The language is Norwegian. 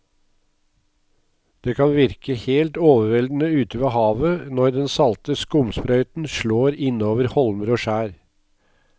Det kan virke helt overveldende ute ved havet når den salte skumsprøyten slår innover holmer og skjær.